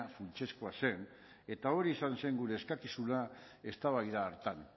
funtsezkoa zen eta hori izan zen gure eskakizuna eztabaida hartan